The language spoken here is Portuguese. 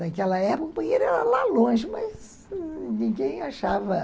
Naquela época, o banheiro era lá longe, mas ninguém achava.